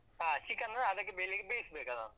ಹಾ chicken ಅದಕ್ಕೆ ಬೇಸ್ಬೇಕದನ್ನು.